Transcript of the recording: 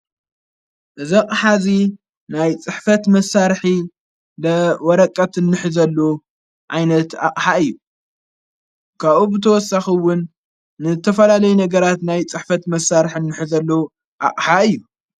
እዘቕ ሓዚ ናይ ጽሕፈት መሣርኂ ደ ወረቀት እንሕ ዘሉ ኣይነት ኣቕሓ እዩ ካኡ ብተወሳኽውን ንተፈላለይ ነገራት ናይ ጽሕፈት መሣርሕ እንኅ ዘሉ ኣቕሓ እዩ።